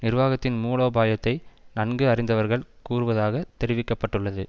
நிர்வாகத்தின் மூலோபாயத்தை நன்கு அறிந்தவர்வகள் கூறுவதாக தெரிவிக்க பட்டுள்ளது